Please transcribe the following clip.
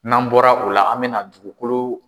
N'an bɔra u la an mɛna dugukolo